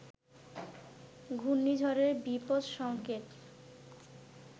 ঘূর্ণিঝড়ের বিপদ সংকেত